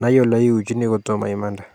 Nai oleiuchini kotomo imande